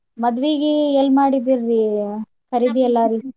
ಮದ್ವೀಗೆ ಎಲ್ ಮಾಡಿದ್ರಿ ರೀ ಖರೀದಿ ಎಲ್ಲಾ ರೀ.